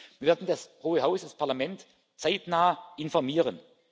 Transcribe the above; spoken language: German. ist. Wir werden das Hohe Haus, das Parlament, zeitnah informieren.